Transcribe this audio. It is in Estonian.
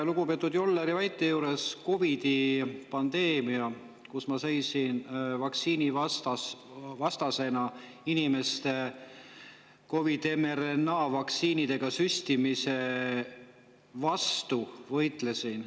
Lugupeetud Jolleri väite juures meenub mulle COVID-i pandeemia, kui ma vaktsiinivastasena inimeste COVID-i mRNA-vaktsiinidega süstimise vastu võitlesin.